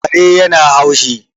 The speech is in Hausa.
Kare yana haushi